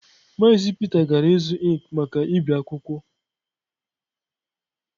Maazi Peter gara ịzụ ink maka ibi akwụkwọ.